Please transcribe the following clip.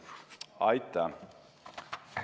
Aitäh!